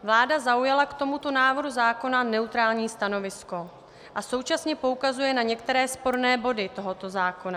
Vláda zaujala k tomuto návrhu zákona neutrální stanovisko a současně poukazuje na některé sporné body tohoto zákona.